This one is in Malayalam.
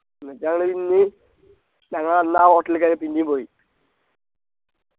എന്നിട്ടാണ് ഇന്ന് ഞങ്ങൾ അന്ന് ആ hotel ൽ കേറിയ പിന്നിം പോയി